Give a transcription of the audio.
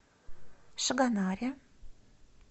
шагонаре